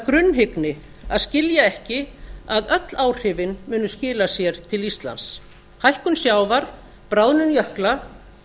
grunnhyggni að skilja ekki að öll áhrifin munu skila sér til íslands hækkun sjávar bráðnun jökla